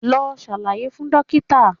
Lọ ṣàlàyé fún dókítà̀